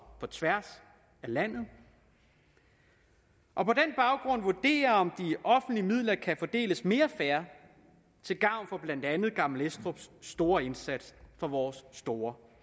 på tværs af landet og på den baggrund vurdere om de offentlige midler kan fordeles mere fair til gavn for blandt andet gammel estrups store indsats for vores store